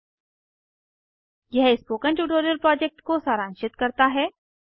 httpspoken tutorialorgWhat is a Spoken Tutorial यह spoken tutorial project को सारांशित करता है